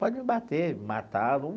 Pode me bater, me matar.